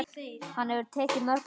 Hann hefur tekið mörg ár.